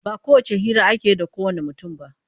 Ba kowacce hira ake yi da kowanne mutum ba.